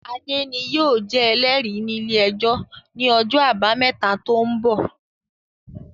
Adé ni yóò jẹ Ẹlẹ́rìí ní ilé-ẹjọ̀ ní ọjọ́ àbámẹ́ta tó ń bọ̀